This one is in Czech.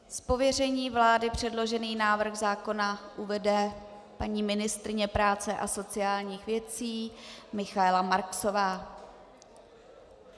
Z pověření vlády předložený návrh zákona uvede paní ministryně práce a sociálních věcí Michaela Marksová.